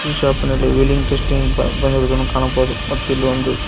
ಈ ಶಾಪಿನಲ್ಲಿ wheeling testing ಬ ಬಂದಿರುವುದನ್ನು ಕಾಣಬಹುದು ಮತ್ತು ಇಲ್ಲಿ ಒಂದು--